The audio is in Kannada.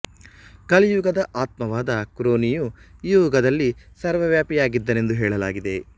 ಕಲಿ ಯುಗದ ಆತ್ಮವಾದ ಕ್ರೋನಿಯು ಈ ಯುಗದಲ್ಲಿ ಸರ್ವವ್ಯಾಪಿಯಾಗಿದ್ದಾನೆಂದು ಹೇಳಲಾಗಿದೆ